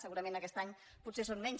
segurament aquest any potser són menys